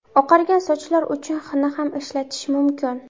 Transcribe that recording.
Oqargan sochlar uchun xina ham ishlatish mumkin.